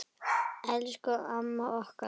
Elsku amma okkar.